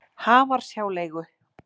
Hamarshjáleigu